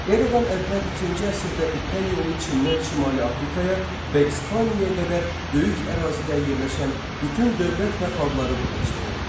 Eradan əvvəl ikinci əsrdə ipək yolu Çindən şimali Afrikaya və İspaniyaya qədər böyük ərazidə yerləşən bütün dövlət və xalqları birləşdirirdi.